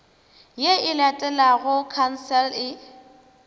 ye e latelago khansele e